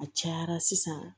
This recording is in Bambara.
A cayara sisan